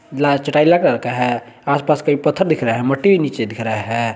Colour का हैं आस-पास कई पत्थर दिख रहा हैं मट्टी नीचे दिख रहा है।